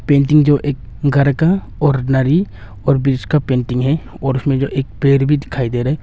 Painting जो एक घर का और एक नारी और ब्रिज का पेंटिंग है और उसमें जो है एक पेड़ भी दिखाई दे रहा है।